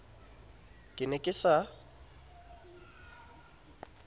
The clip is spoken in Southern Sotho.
ne ke se ke sa